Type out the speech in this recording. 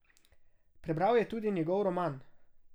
Prebral je tudi njegov roman.